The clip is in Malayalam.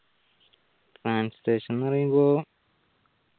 translation ന്നു പറയുമ്പോ